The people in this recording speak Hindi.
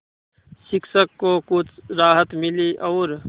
शिक्षक को कुछ राहत मिली और